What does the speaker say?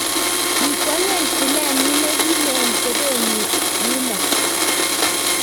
kikwang'ech tilenyin ne kileni teben yunoe